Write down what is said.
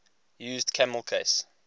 used camel case